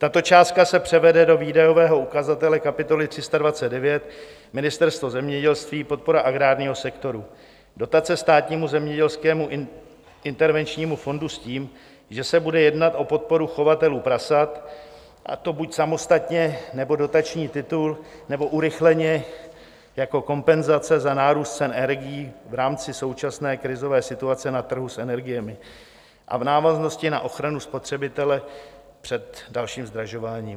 Tato částka se převede do výdajového ukazatele kapitoly 329 Ministerstvo zemědělství, podpora agrárního sektoru, dotace Státnímu zemědělskému intervenčnímu fondu s tím, že se bude jednat o podporu chovatelů prasat, a to buď samostatně, nebo dotační titul, nebo urychleně jako kompenzace za nárůst cen energií v rámci současné krizové situace na trhu s energiemi a v návaznosti na ochranu spotřebitele před dalším zdražování.